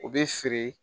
U bɛ feere